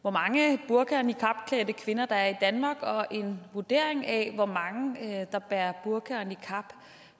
hvor mange burka og niqabklædte kvinder der er i danmark og en vurdering af hvor mange der bærer burka og niqab